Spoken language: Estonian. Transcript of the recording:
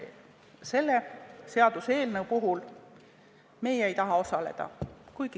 ... et selle seaduseelnõu puhul me ei taha osaleda.